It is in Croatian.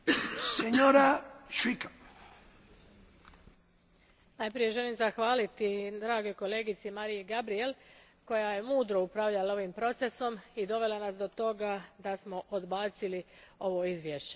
Gospodine predsjedniče, najprije želim zahvaliti dragoj kolegici Mariyi Gabriel koja je mudro upravljala ovim procesom i dovela nas do toga da smo odbacili ovo izvješće.